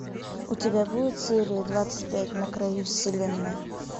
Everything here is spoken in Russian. у тебя будет серия двадцать пять на краю вселенной